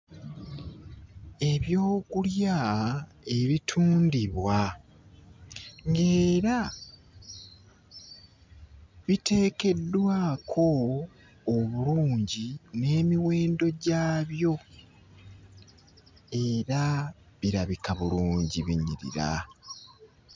Ebyokulya ebitundibwa ng'era biteekeddwako obulungi n'emiwendo gyabyo era birabika bulungi binyirira!